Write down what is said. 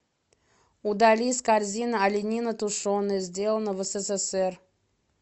удали из корзины оленина тушеная сделано в ссср